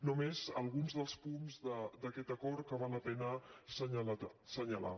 només alguns dels punts d’aquest acord que val la pena assenyalar